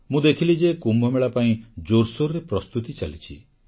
ମୁଁ ଦେଖିଲି ଯେ କୁମ୍ଭମେଳା ପାଇଁ ଜୋରସୋରରେ ପ୍ରସ୍ତୁତି ଚାଲିଛି